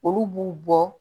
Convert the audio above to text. Olu b'u bɔ